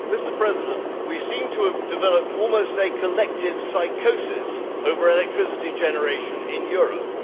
Mr President, we seem to have developed a collective psychosis over electricity generation in Europe.